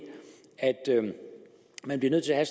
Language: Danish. at man bliver nødt til at